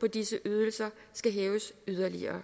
på disse ydelser skal hæves yderligere